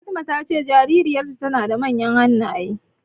Fatima ta ce jaririyar tana da manyan hannaye.